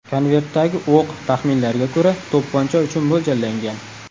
Konvertdagi o‘q, taxminlarga ko‘ra, to‘pponcha uchun mo‘ljallangan.